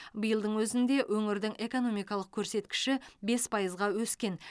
биылдың өзінде өңірдің экономикалық көрсеткіші бес пайызға өскен